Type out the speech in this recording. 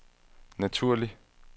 naturlig